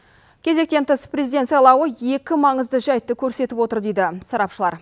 кезектен тыс президент сайлауы екі маңызды жайтты көрсетіп отыр дейді сарапшылар